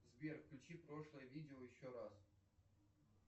сбер включи прошлое видео еще раз